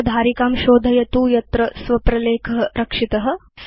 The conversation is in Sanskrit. अत्र धारिकां शोधयतु यत्र भवता स्व प्रलेख रक्षित